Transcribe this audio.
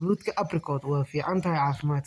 Fruutka apricot waa fiican tahay caafimaadka.